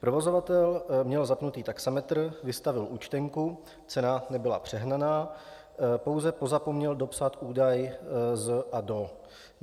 Provozovatel měl zapnutý taxametr, vystavil účtenku, cena nebyla přehnaná, pouze pozapomněl dopsat údaj Z a DO.